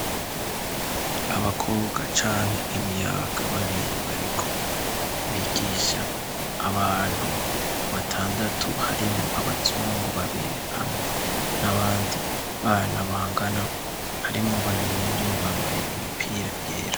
Abakobwa canke imiyabaga babiri bariko bigisha abantu batandatu, harimwo abazungu babiri ,hamwe n'abandi bana bangana, harimwo babiri muri bo bambaye imipira yera.